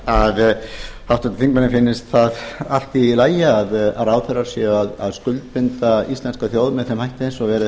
að háttvirtum þingmanni finnist það allt í lagi að ráðherrar séu að skuldbinda íslenska þjóð með þeim hætti sem verið